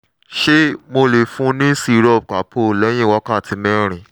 ṣé mo lè fún un ní syrup calpol lẹ́yìn wákàtí mẹ́rin?